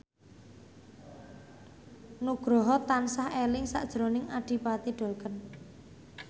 Nugroho tansah eling sakjroning Adipati Dolken